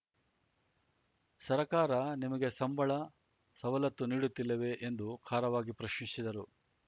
ಸರಕಾರ ನಿಮಗೆ ಸಂಬಳ ಸವಲತ್ತು ನೀಡುತ್ತಿಲ್ಲವೆ ಎಂದು ಖಾರವಾಗಿ ಪ್ರಶ್ನಿಸಿದರು